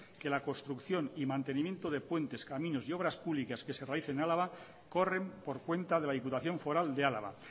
que la construcción y mantenimiento de puentes caminos y obras públicas que se realice en álava corren por cuenta de la diputación foral de álava